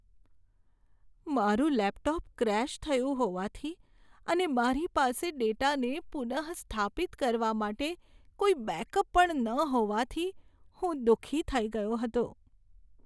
મારું laptop crash થયું હોવાથી અને મારી પાસે ડેટાને પુનઃસ્થાપિત કરવા માટે કોઈ બેકઅપ પણ ન હોવાથી હું દુઃખી થઈ ગયો હતો.